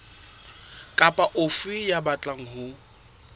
kapa ofe ya batlang ho